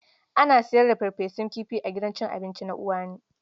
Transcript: Ana sayar da farfesun kifi a gidan cin abinci na Uwani.